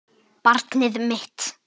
Barn mitt.